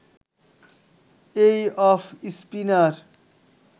এই off spinner